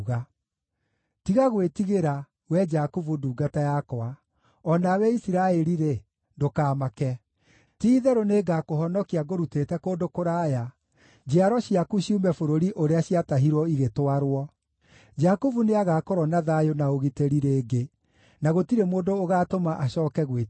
“Tiga gwĩtigĩra, wee Jakubu ndungata yakwa: o nawe Isiraeli-rĩ, ndũkamake. Ti-itherũ nĩngakũhonokia ngũrutĩte kũndũ kũraya, njiaro ciaku ciume bũrũri ũrĩa ciatahirwo igĩtwarwo. Jakubu nĩagakorwo na thayũ na ũgitĩri rĩngĩ, na gũtirĩ mũndũ ũgaatũma acooke gwĩtigĩra.”